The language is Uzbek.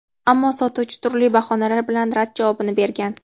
Ammo sotuvchi turli bahonalar bilan rad javobini bergan.